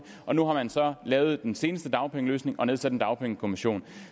og nu har man så lavet den seneste dagpengeløsning og nedsat en dagpengekommission